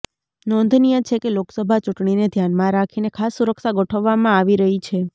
નોંધનીય છે કે લોકસભા ચૂંટણીને ધ્યાનમાં રાખીને ખાસ સુરક્ષા ગોઠવવામાં આવી રહી છે